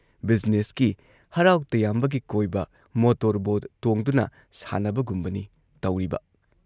ꯕꯤꯖꯤꯅꯦꯁꯀꯤ, ꯍꯔꯥꯎ ꯇꯌꯥꯝꯕꯒꯤ ꯀꯣꯏꯕ, ꯃꯣꯇꯣꯔ ꯕꯣꯠ ꯇꯣꯡꯗꯨꯅ ꯁꯥꯟꯅꯕꯒꯨꯝꯕꯅꯤ ꯇꯧꯔꯤꯕ ꯫